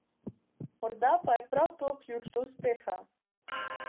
Morda pa je prav to ključ do uspeha.